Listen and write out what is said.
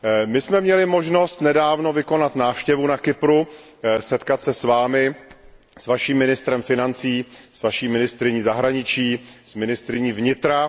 My jsme měli možnost nedávno vykonat návštěvu na Kypru, setkat se s vámi, s vaším ministrem financí, s vaší ministryní zahraničí, s ministryní vnitra.